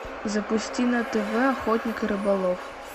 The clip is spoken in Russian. запусти на тв охотник и рыболов